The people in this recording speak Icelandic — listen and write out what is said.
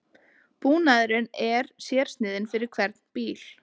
Búnaðurinn er sérsniðinn fyrir hvern bíl